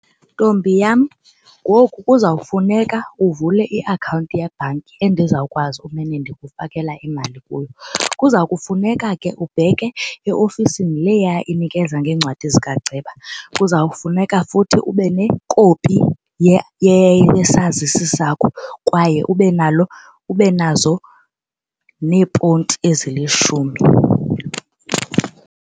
Ntombi yam ngoku kuzawufuneka uvule iakhawunti yebhanki endizawukwazi ukumane ndikufakela imali kuyo. Kuza kufuneka ke ubheke eofisini leya inikeza ngeencwadi zika ceba. Kuzawufuneka futhi ube nekopi yesazisi sakho kwaye ube nazo neeponti ezilishumi.